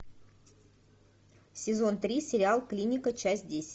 сезон три сериал клиника часть десять